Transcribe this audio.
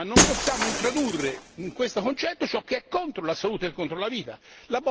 Ma non possiamo introdurre in questo concetto ciò che è contro la salute e contro la vita.